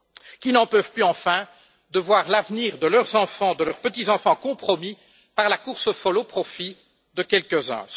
qui n'en peuvent plus, enfin, de voir l'avenir de leurs enfants, de leurs petits enfants, compromis par la course folle au profit de quelques uns.